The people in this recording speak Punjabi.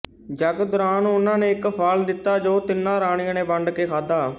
ਯਗ ਦੋਰਾਨ ਉਹਨਾਂ ਨੇ ਇਕ ਫਲ ਦਿਤਾ ਜੋ ਤਿਨਾਂ ਰਾਣੀਆਂ ਨੇ ਵੰਡ ਕੇ ਖਾਦਾ